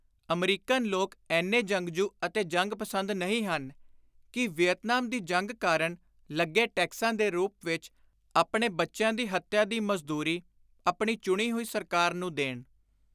American ਲੋਕ ਏਨੇ ਜੰਗਜੁ ਅਤੇ ਜੰਗ-ਪਸੰਦ ਨਹੀਂ ਹਨ ਕਿ ਵੀਅਤਨਾਮ ਦੀ ਜੰਗ ਕਾਰਣ ਲੱਗੇ ਟੈਕਸਾਂ ਦੇ ਰੁਪ ਵਿਚ, ਆਪਣੇ ਬੱਚਿਆਂ ਦੀ ਹੱਤਿਆ ਦੀ ਮਜ਼ਦੂਰੀ, ਆਪਣੀ ਚੁਣੀ ਹੋਈ ਸਰਕਾਰ ਨੂੰ ਦੇਣ।